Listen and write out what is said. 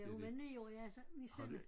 Hun var 9 år ja så vi sender